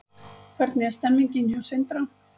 Hvernig er stemningin hjá Sindra?